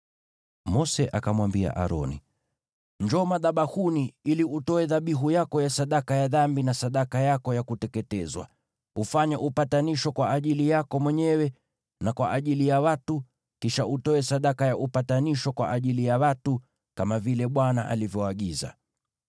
Mose akamwambia Aroni, “Njoo madhabahuni ili utoe dhabihu yako ya sadaka ya dhambi na sadaka yako ya kuteketezwa, ufanye upatanisho kwa ajili yako mwenyewe na kwa ajili ya watu. Kisha utoe sadaka ya upatanisho kwa ajili ya watu, kama vile Bwana alivyoagiza.”